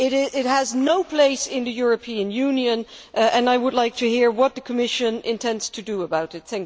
It has no place in the European Union and I would like to hear what the Commission intends to do about it.